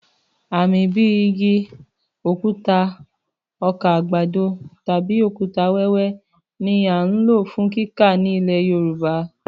Àmì bíi igi, òkúta, ọkà àgbàdo tàbí òkúta-wẹwẹ ni a ń lò fún kíkà ní ilẹ̀ Yorùbá.